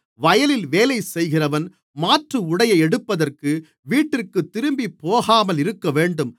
வயலில் வேலைசெய்கிறவன் மாற்று உடையை எடுப்பதற்கு வீட்டிற்கு திரும்பிப் போகாமல் இருக்கவேண்டும்